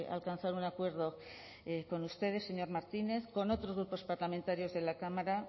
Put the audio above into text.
alcanzar un acuerdo con ustedes señor martínez con otros grupos parlamentarios de la cámara